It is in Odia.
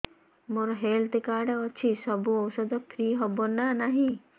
ମୋର ହେଲ୍ଥ କାର୍ଡ ଅଛି ସବୁ ଔଷଧ ଫ୍ରି ହବ ନା ନାହିଁ